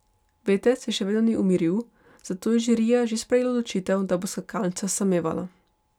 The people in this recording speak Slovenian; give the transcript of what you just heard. Veter se še vedno ni umiril, zato je žirija že sprejela odločitev, da bo skakalnica samevala.